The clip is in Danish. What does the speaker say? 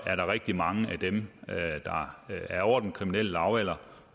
er der rigtig mange af dem der er over den kriminelle lavalder